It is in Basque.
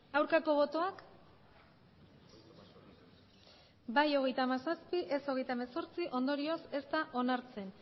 aurkako botoak bai hogeita hamazazpi ez hogeita hemezortzi ondorioz ez da onartzen